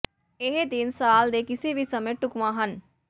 ਇਹ ਦਿਨ ਸਾਲ ਦੇ ਕਿਸੇ ਵੀ ਸਮੇਂ ਢੁਕਵਾਂ ਹਨ